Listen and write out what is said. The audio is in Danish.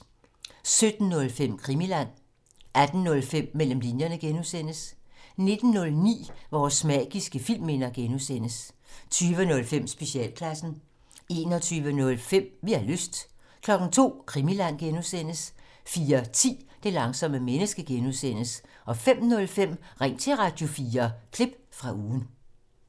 17:05: Krimiland 18:05: Mellem linjerne (G) 19:09: Vores magiske filmminder (G) 20:05: Specialklassen 21:05: Vi har lyst 02:00: Krimiland (G) 04:10: Det langsomme menneske (G) 05:05: Ring til Radio4 – klip fra ugen